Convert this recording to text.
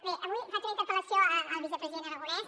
bé avui faig una interpel·lació al vicepresident aragonès